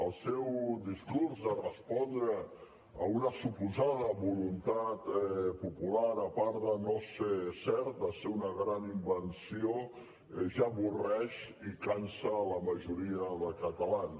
el seu discurs de respondre a una suposada voluntat popular a part de no ser cert de ser una gran invenció ja avorreix i cansa a la majoria de catalans